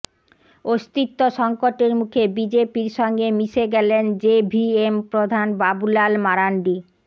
অস্তিত্ব সংকটের মুখে বিজেপির সঙ্গে মিশে গেলেন জেভিএম প্রধান বাবুলাল মারান্ডি